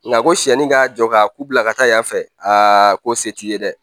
Nka ko siɲɛnni ka jɔ ka ku bila ka taa yan fɛ aa ko se t'i ye dɛ